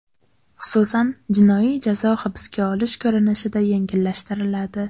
Xususan, jinoiy jazo hibsga olish ko‘rinishida yengillashtiriladi.